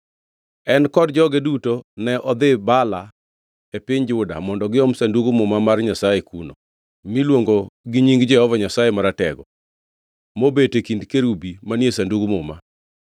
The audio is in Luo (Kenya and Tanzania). En kod joge duto ne nodhi Baala e piny Juda mondo giom Sandug Muma mar Nyasaye kuno, miluongo gi nying Jehova Nyasaye Maratego, mobet e kind kerubi manie Sandug Muma.